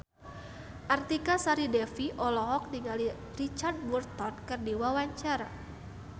Artika Sari Devi olohok ningali Richard Burton keur diwawancara